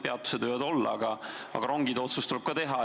Peatused võivad olla, aga ka rongide kohta tuleb otsus teha ...